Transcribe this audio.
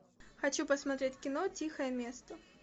хочу посмотреть кино тихое место